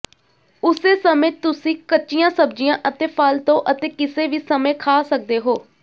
ਉਸੇ ਸਮੇਂ ਤੁਸੀਂ ਕੱਚੀਆਂ ਸਬਜ਼ੀਆਂ ਅਤੇ ਫਲ ਤੋਂ ਅਤੇ ਕਿਸੇ ਵੀ ਸਮੇਂ ਖਾ ਸਕਦੇ ਹੋ